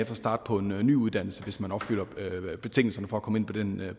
kan starte på en ny uddannelse hvis man opfylder betingelserne for at komme ind